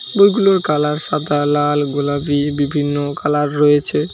বইগুলোর কালার সাদা লাল গোলাপি বিভিন্ন কালার রয়েছে।